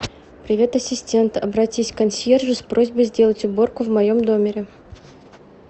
привет ассистент обратись к консьержу с просьбой сделать уборку в моем номере